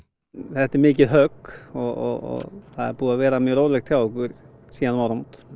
þetta er mikið högg og það er búið að vera mjög rólegt hjá okkur síðan um áramót